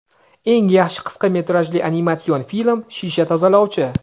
Eng yaxshi qisqa metrajli animatsion film – "Shisha tozalovchi";.